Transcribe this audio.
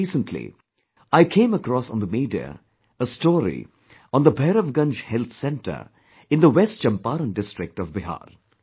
Just recently, I came across on the media, a story on the Bhairavganj Health Centre in the West Champaran district of Bihar